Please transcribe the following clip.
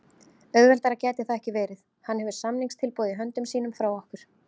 Auðveldara gæti það ekki verið. Hann hefur samningstilboð í höndum sínum frá okkur.